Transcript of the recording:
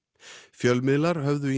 fjölmiðlar höfðu